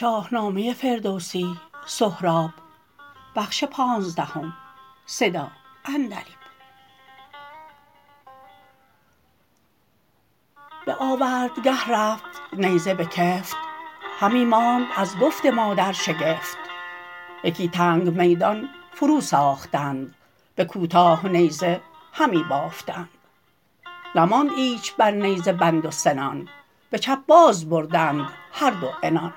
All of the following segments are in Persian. به آوردگه رفت نیزه بکفت همی ماند از گفت مادر شگفت یکی تنگ میدان فرو ساختند به کوتاه نیزه همی بافتند نماند ایچ بر نیزه بند و سنان به چپ باز بردند هر دو عنان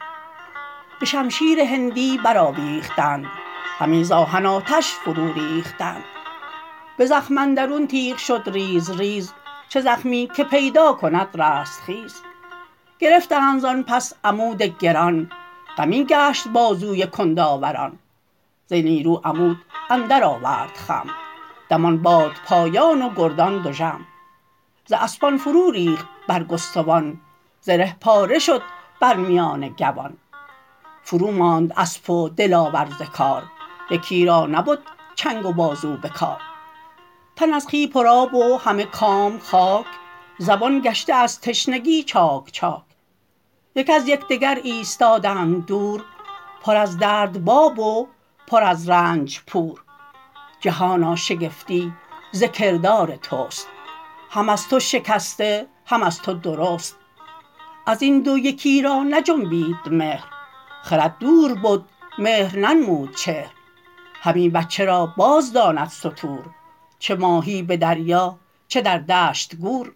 به شمشیر هندی برآویختند همی ز آهن آتش فرو ریختند به زخم اندرون تیغ شد ریز ریز چه زخمی که پیدا کند رستخیز گرفتند زان پس عمود گران غمی گشت بازوی کندآوران ز نیرو عمود اندر آورد خم دمان باد پایان و گردان دژم ز اسپان فرو ریخت برگستوان زره پاره شد بر میان گوان فرو ماند اسپ و دلاور ز کار یکی را نبد چنگ و بازو به کار تن از خوی پر آب و همه کام خاک زبان گشته از تشنگی چاک چاک یک از یکدگر ایستادند دور پر از درد باب و پر از رنج پور جهانا شگفتی ز کردار تست هم از تو شکسته هم از تو درست ازین دو یکی را نجنبید مهر خرد دور بد مهر ننمود چهر همی بچه را باز داند ستور چه ماهی به دریا چه در دشت گور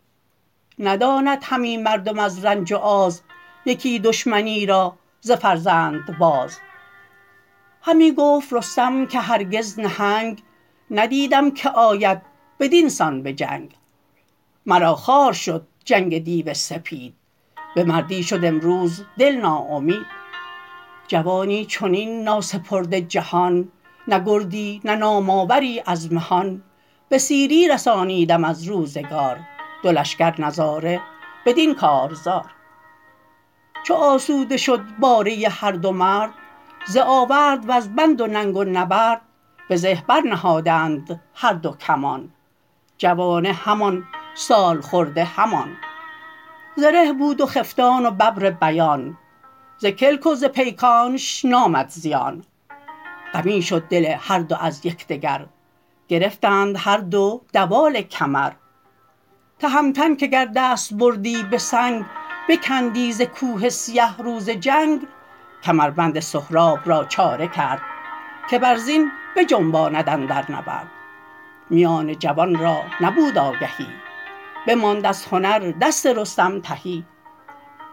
نداند همی مردم از رنج و آز یکی دشمنی را ز فرزند باز همی گفت رستم که هرگز نهنگ ندیدم که آید بدین سان به جنگ مرا خوار شد جنگ دیو سپید ز مردی شد امروز دل ناامید جوانی چنین ناسپرده جهان نه گردی نه نام آوری از مهان به سیری رسانیدم از روزگار دو لشکر نظاره بدین کارزار چو آسوده شد باره هر دو مرد ز آورد و ز بند و ننگ و نبرد به زه بر نهادند هر دو کمان جوانه همان سالخورده همان زره بود و خفتان و ببر بیان ز کلک و ز پیکانش نامد زیان غمی شد دل هر دو از یکدگر گرفتند هر دو دوال کمر تهمتن که گر دست بردی به سنگ بکندی ز کوه سیه روز جنگ کمربند سهراب را چاره کرد که بر زین بجنباند اندر نبرد میان جوان را نبود آگهی بماند از هنر دست رستم تهی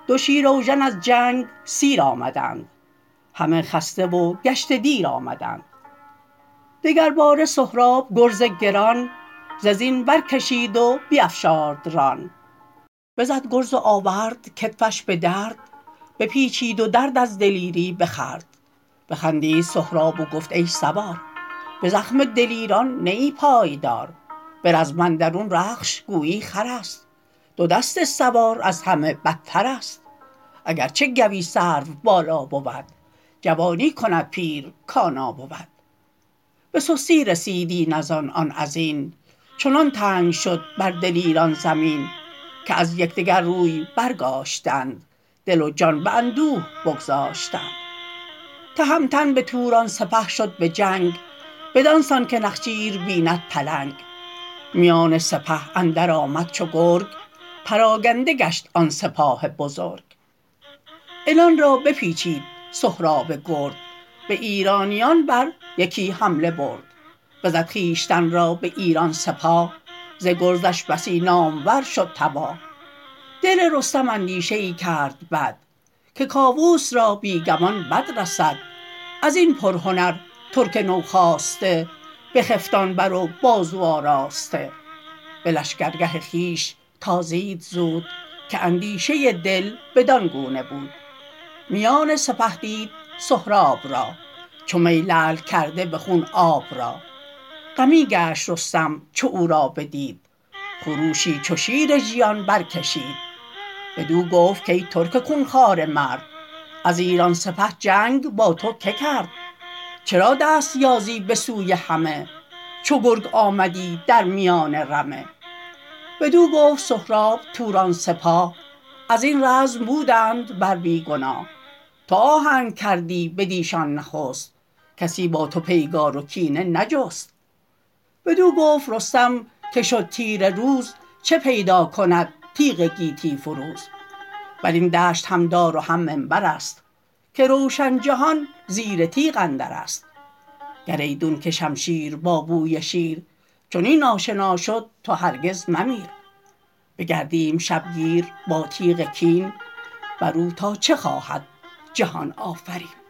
دو شیراوژن از جنگ سیر آمدند همه خسته و گشته دیر آمدند دگر باره سهراب گرز گران ز زین برکشید و بیفشارد ران بزد گرز و آورد کتفش به درد بپیچید و درد از دلیری بخورد بخندید سهراب و گفت ای سوار به زخم دلیران نه ای پایدار به رزم اندرون رخش گویی خرست دو دست سوار از همه بترست اگرچه گوی سرو بالا بود جوانی کند پیر کانا بود به سستی رسید این ازان آن ازین چنان تنگ شد بر دلیران زمین که از یکدگر روی برگاشتند دل و جان به اندوه بگذاشتند تهمتن به توران سپه شد به جنگ بدانسان که نخچیر بیند پلنگ میان سپاه اندر آمد چو گرگ پراگنده گشت آن سپاه بزرگ عنان را بپچید سهراب گرد به ایرانیان بر یکی حمله برد بزد خویشتن را به ایران سپاه ز گرزش بسی نامور شد تباه دل رستم اندیشه ای کرد بد که کاووس را بی گمان بد رسد ازین پرهنر ترک نوخاسته بخفتان بر و بازو آراسته به لشکرگه خویش تازید زود که اندیشه دل بدان گونه بود میان سپه دید سهراب را چو می لعل کرده به خون آب را غمی گشت رستم چو او را بدید خروشی چو شیر ژیان برکشید بدو گفت کای ترک خونخواره مرد از ایران سپه جنگ با تو که کرد چرا دست یازی به سوی همه چو گرگ آمدی در میان رمه بدو گفت سهراب توران سپاه ازین رزم بودند بر بی گناه تو آهنگ کردی بدیشان نخست کسی با تو پیگار و کینه نجست بدو گفت رستم که شد تیره روز چه پیدا کند تیغ گیتی فروز برین دشت هم دار و هم منبرست که روشن جهان زیر تیغ اندرست گر ایدون که شمشیر با بوی شیر چنین آشنا شد تو هرگز ممیر بگردیم شبگیر با تیغ کین برو تا چه خواهد جهان آفرین